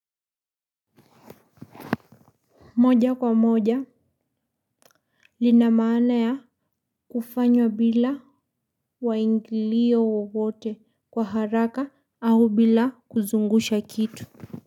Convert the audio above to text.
Moja kwa moja, lina maana ya kufanywa bila waingilio wowote kwa haraka au bila kuzungusha kitu.